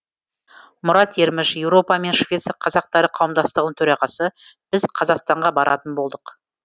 мұрат ерміш еуропа мен швеция қазақтары қауымдастығын төрағасы біз қазақстанға баратын болдық